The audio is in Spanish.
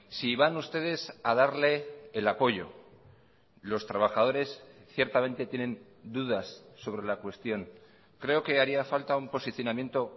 si van ustedes a darle el apoyo los trabajadores ciertamente tienen dudas sobre la cuestión creo que haría falta un posicionamiento